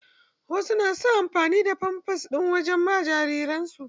Wasu na son amfani da famfas ɗin waje ma jariran su.